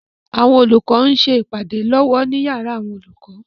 Àwọn olùkọ ń ṣe ìpàdé lọ́wọ́ ní yàrá àwọn olùkọ.